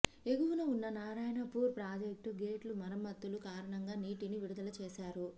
ఎగువన ఉన్న నారాయణపూర్ ప్రాజెక్టు గేట్లు మరమ్మతుల కారణంగా నీటిని విడుదల చేశారు